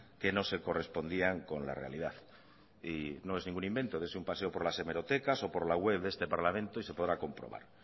que no se correspondían con la realidad y no es ningún invento dese un paseo por las hemerotecas o por la web de este parlamento y se podrá comprobar